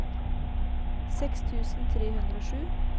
seks tusen tre hundre og sju